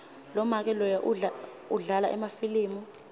lomake loya udlala emafilimu